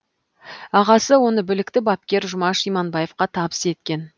ағасы оны білікті бапкер жұмаш иманбаевқа табыс еткен